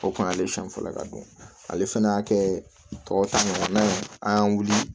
O kun y'ale siɲɛ fɔlɔ ka don ale fana y'a kɛ tɔ ta ɲɔgɔnna ye an y'an wuli